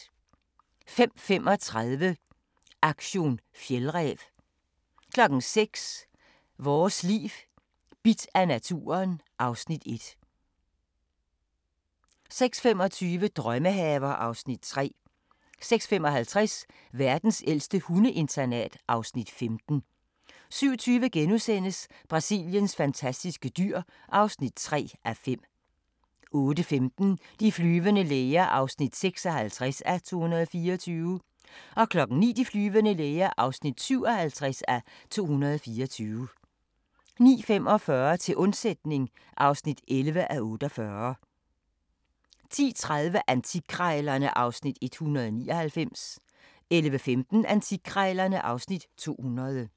05:35: Aktion fjeldræv 06:00: Vores Liv: Bidt af naturen (Afs. 1) 06:25: Drømmehaver (Afs. 3) 06:55: Verdens ældste hundeinternat (Afs. 15) 07:20: Brasiliens fantastiske dyr (3:5)* 08:15: De flyvende læger (56:224) 09:00: De flyvende læger (57:224) 09:45: Til undsætning (11:48) 10:30: Antikkrejlerne (Afs. 199) 11:15: Antikkrejlerne (Afs. 200)